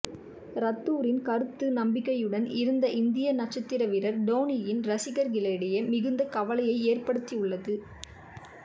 ரத்தூரின் கருத்து நம்பிக்கையுடன் இருந்த இந்திய நட்சத்திர வீரர் டோனியின் ரசிகர்களிடையே மிகுந்த கவலையை ஏற்படுத்தியுள்ளது